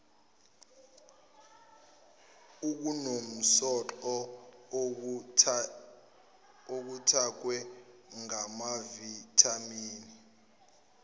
okunomsoco okuthakwe ngamavithamini